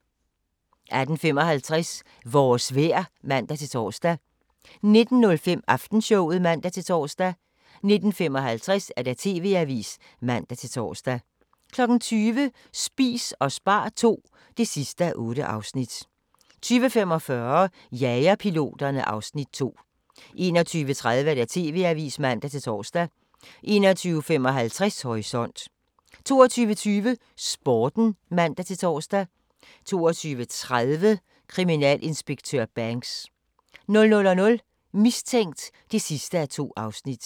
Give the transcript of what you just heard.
18:55: Vores vejr (man-tor) 19:05: Aftenshowet (man-tor) 19:55: TV-avisen (man-tor) 20:00: Spis og spar II (8:8) 20:45: Jagerpiloterne (Afs. 2) 21:30: TV-avisen (man-tor) 21:55: Horisont 22:20: Sporten (man-tor) 22:30: Kriminalinspektør Banks 00:00: Mistænkt (2:2)